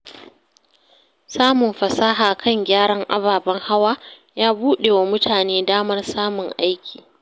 Samun fasaha kan gyaran ababen hawa ya buɗe wa mutane damar samun aiki.